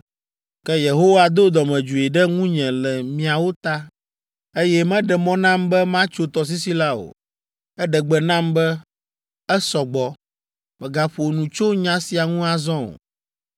Ke Yehowa do dɔmedzoe ɖe ŋunye le miawo ta, eye meɖe mɔ nam be matso tɔsisi la o. Eɖe gbe nam be, “Esɔ gbɔ, mègaƒo nu tso nya sia ŋu azɔ o,